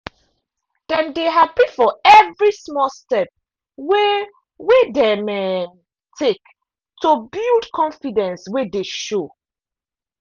dem dey happy for every small step wey wey dem um take to build confidence wey dey show